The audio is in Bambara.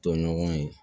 Tɔɲɔgɔn ye